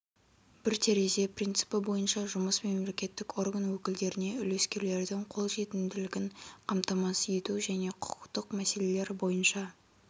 бір терезе принципі бойынша жұмыс мемлекеттік орган өкілдеріне үлескерлердің қолжетімділігін қамтамасыз ету және құқықтық мәселелер бойынша